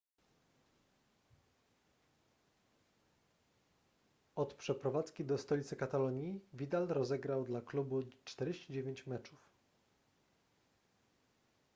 od przeprowadzki do stolicy katalonii vidal rozegrał dla klubu 49 meczów